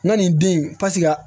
N ka nin den in paseke